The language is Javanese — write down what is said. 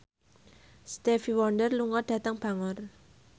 Stevie Wonder lunga dhateng Bangor